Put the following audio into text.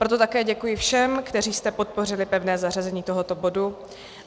Proto také děkuji všem, kteří jste podpořili pevné zařazení tohoto bodu.